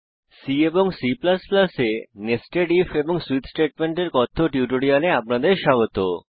C এবং C এ nested if এবং সুইচ স্টেটমেন্টের কথ্য টিউটোরিয়ালে আপনাদের স্বাগত